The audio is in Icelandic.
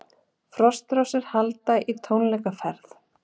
Frostrósir halda í tónleikaferð